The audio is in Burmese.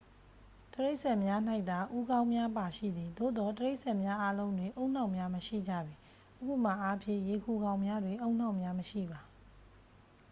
တိရစ္ဆာန်များ၌သာ ဦးနှောက်များပါရှိသည်။ သို့သော် တိရစ္ဆာန်များအားလုံးတွင် ဦးနှောက်များ မရှိကြပေ။ ဥပမာအားဖြင့် ရေခူကောင်များတွင် ဦးနှောက်များမရှိပါ။